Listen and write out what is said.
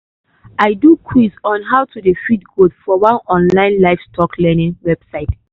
i do quiz on how to dey feed goat for one online livestock learning website.